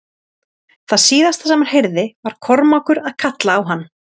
Það síðasta sem hann heyrði var Kormákur að kalla á hann.